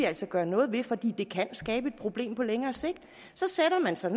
altså gøre noget ved for det kan skabe et problem på længere sigt så sætter man sig